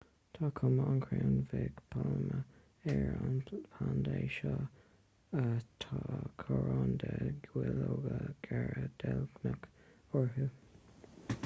tá cuma an chrainn bhig pailme ar na plandaí seo tá coróin de dhuilleoga géara deilgneacha orthu